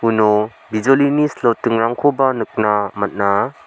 bijolini slotingrangkoba nikna gita man·a.